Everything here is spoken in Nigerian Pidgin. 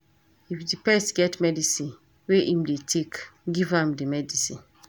If di pet get medicine wey im dey take, give am di medicine